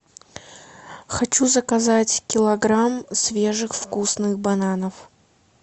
хочу заказать килограмм свежих вкусных бананов